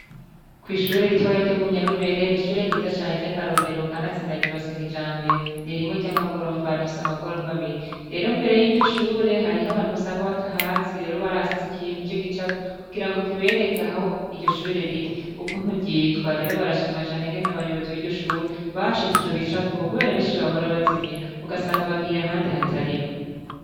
Kw'ishure ritoya ryo munyarubere ni ishure ryiza cane ry'akarorero kanatsindaryubaseka ijambe ni rimwe ry'amagorofa rifise amagorofa abiri rero imbere y'iryo shure hariho abantu basanga batahazi rero barahasize ikintu c'gicapu kugira ngo kibereke ahaho iryo shure riri uku nturyitwa rero barashimacane ngena abayobozi b'iryo shure bashize ico gicapu rabishijwe abahora bazimira ugasanga bagiye ahandi hatariho.